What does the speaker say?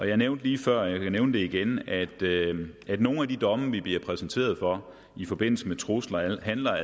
jeg nævnte lige før og jeg kan nævne det igen at at nogle af de domme vi bliver præsenteret for i forbindelse med trusler altså handler